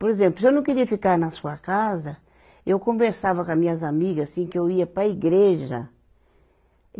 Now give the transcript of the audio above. Por exemplo, se eu não queria ficar na sua casa, eu conversava com as minhas amigas, assim, que eu ia para a igreja.